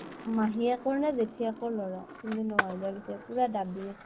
মাহীয়েকৰ নে জেঠীয়েকৰ লʼৰা । কিন্তু ন হাজাৰ লৈছে, পুৰা দাবি আছে।